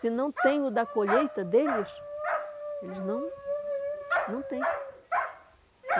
Se não tem o da colheita deles, eles não... não tem.